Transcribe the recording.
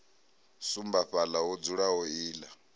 sumba fhaḽa ho dzulaho iḽla